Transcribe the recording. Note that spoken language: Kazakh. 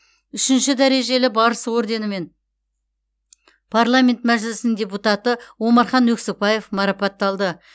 үшінші дәрежелі барыс орденімен парламент мәжілісінің депутаты омархан өксікбаев марапатталды